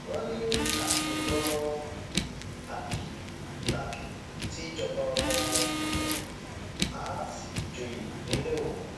wọn ní àkè lọmọ àbí làkè tí í jọba ọmọ òwú àá sì joyè nílẹ òwú